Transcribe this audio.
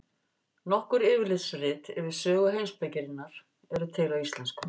Nokkur yfirlitsrit yfir sögu heimspekinnar eru til á íslensku.